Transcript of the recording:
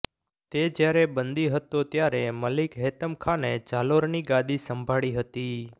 તે જ્યારે બંદી હતો ત્યારે મલિક હેતમ ખાને જાલોરની ગાદી સંભાળી હતી